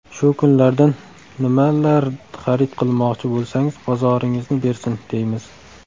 Shu kunlardan nimalar xarid qilmoqchi bo‘lsangiz, bozoringizni bersin, deymiz!